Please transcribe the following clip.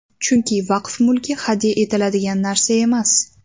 Chunki vaqf mulki hadya etiladigan narsa emas.